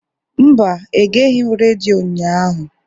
Mba, egeghị m redio ụnyahụ.